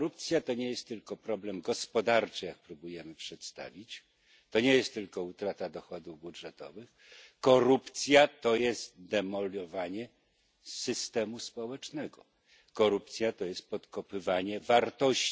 Korupcja to nie jest tylko problem gospodarczy, jak próbujemy ją przedstawić, to nie jest tylko utrata dochodów budżetowych. Korupcja to jest demolowanie systemu społecznego, korupcja to jest podkopywanie wartości.